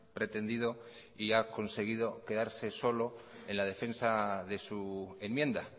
pretendido y ha conseguido quedarse solo en la defensa de su enmienda